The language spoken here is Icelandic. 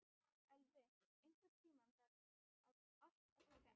Elvi, einhvern tímann þarf allt að taka enda.